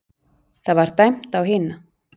Það var dæmt á hina!